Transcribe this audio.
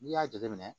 N'i y'a jateminɛ